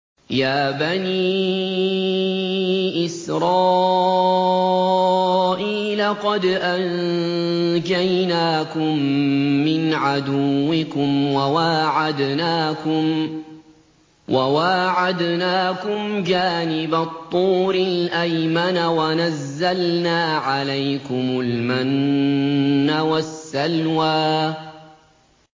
يَا بَنِي إِسْرَائِيلَ قَدْ أَنجَيْنَاكُم مِّنْ عَدُوِّكُمْ وَوَاعَدْنَاكُمْ جَانِبَ الطُّورِ الْأَيْمَنَ وَنَزَّلْنَا عَلَيْكُمُ الْمَنَّ وَالسَّلْوَىٰ